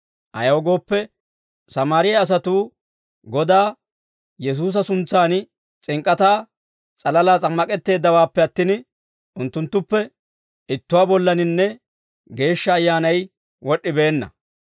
ayaw gooppe, Sammaariyaa asatuu Godaa Yesuusa suntsan s'ink'k'ataa s'alalaa s'ammak'etteeddawaappe attin, unttunttuppe ittuwaa bollaninne Geeshsha Ayyaanay wod'd'ibeenna.